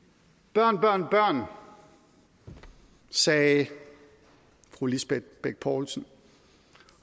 børn børn børn sagde fru lisbeth bech poulsen